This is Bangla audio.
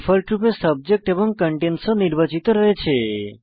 ডিফল্টরূপে সাবজেক্ট এবং কন্টেইনস ও নির্বাচিত রয়েছে